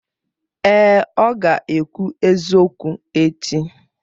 Èè, ọ ga-ekwu eziokwu echi.